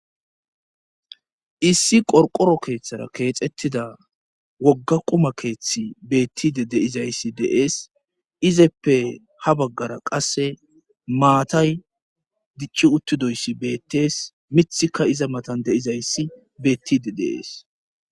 issi qorqoro keeththara keexettida wogga quma keeththi beettide de7izayssi de7es izeppe ha baggara qasse maatay dicci uttidoyssi beettees mithika iza matan de7izayssi beettide de7ees